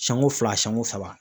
Siɲɛko fila siɲɛko saba